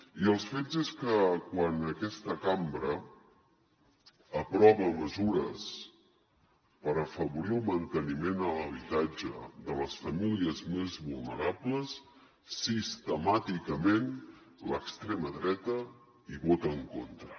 i els fets són que quan aquesta cambra aprova mesures per afavorir el manteniment de l’habitatge de les famílies més vulnerables sistemàticament l’extrema dreta hi vota en contra